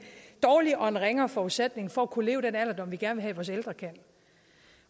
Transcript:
dårligere og en ringere forudsætning for at kunne leve den alderdom vi gerne vil have vores ældre kan